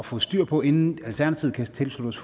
få styr på inden alternativet kan tilslutte